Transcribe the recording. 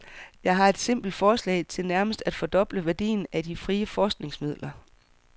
Jeg har et simpelt forslag til nærmest at fordoble værdien af de frie forskningsmidler.